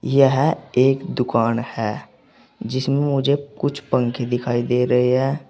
यह एक दुकान है जिसमें मुझे कुछ पंखे दिखाई दे रहे हैं।